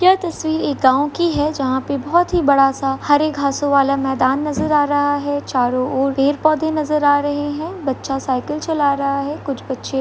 यह तस्वीर इस गाँव की जहाँ पे बहोत ही बड़ा सा हरे घासों वाला मैदान नजर आ रहा है चारो और पेर पौधे नजर आ रहे है बच्चा साइकल चला रहा है कुछ बच्चे --